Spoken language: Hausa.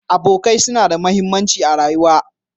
Abokai suna da mahimmanci a rayuwa.